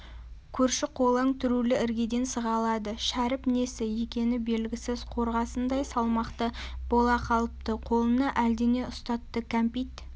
көрші-қолаң түрулі іргеден сығалады шәріп несі екені белгісіз қорғасындай салмақты бола қалыпты қолына әлдене ұстатты кәмпит